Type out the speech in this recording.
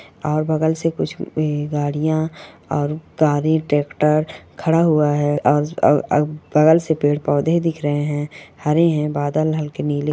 और बगल से कुछ इ गाड़िया और गाड़ी ट्रेकटर खड़ा हुआ है अ अ अ बगल से पेड़-पौधे दिख रहे हैं हरे है बादल हल्के नीले --